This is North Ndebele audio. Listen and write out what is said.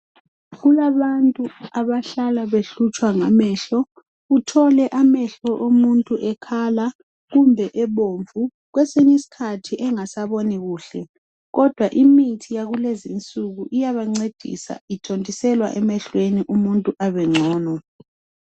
kulabantu abahlala behlutshwa ngamehlo uthole amehlo omuntu ekhala kumbe ebomvu kwesinye isikhathi engasaboni kuhle kodwa imithi yakulezinsuku iyabancedisa ithontiselwa emehlweni umuntu abencono